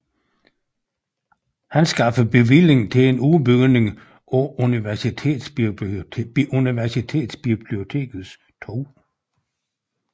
Han skaffede bevilling til en udbygning af Universitetsbibliotekets 2